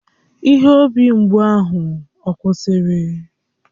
Ihe obi mgbụ ahụ ọ kwụsịrị?